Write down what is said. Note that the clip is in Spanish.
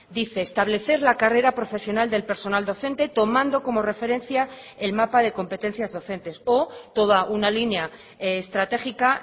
dice establecer la carrera profesional del personal docente tomando como referencia el mapa de competencias docentes o toda una línea estratégica